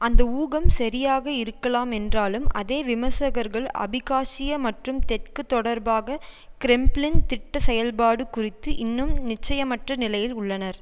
அந்த ஊகம் சரியாக இருக்கலாம் என்றாலும் அதே விமர்சகர்கள் அபிகாசியா மற்றும் தெற்கு தொடர்பாக கிரெம்ளின் திட்ட செயல்பாடு குறித்து இன்னும் நிச்சயமற்ற நிலையில் உள்ளனர்